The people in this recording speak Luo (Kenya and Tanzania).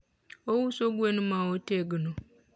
ouso gwen ma otegno